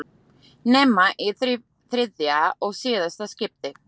Nema í þriðja og síðasta skiptið.